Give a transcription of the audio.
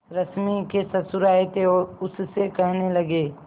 रश्मि के ससुर आए थे और उससे कहने लगे